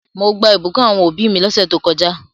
Mo gbà ìbùkún àwon òbí mi lósẹ̀ to kojá